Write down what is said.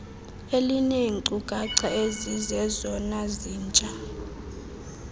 elineenkcukacha ezizezona zintsha